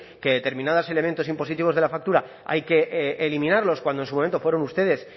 que determinados elementos impositivos de la factura hay que eliminarlos cuando en su momento fueron ustedes